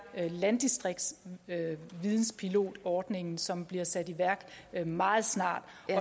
landdistriktsvidenspilotordningen som bliver sat i værk meget snart